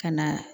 Ka na